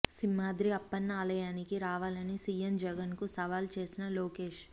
సింహాద్రి అప్పన్న ఆలయానికి రావాలని సీఎం జగన్ కు సవాల్ చేసిన లోకేష్